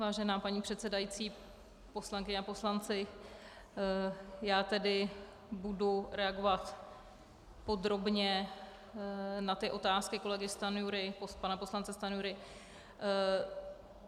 Vážená paní předsedající, poslankyně a poslanci, já tedy budu reagovat podrobně na ty otázky kolegy Stanjury, pana poslance Stanjury.